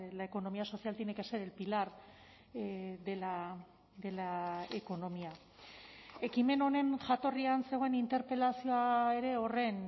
la economía social tiene que ser el pilar de la economía ekimen honen jatorrian zegoen interpelazioa ere horren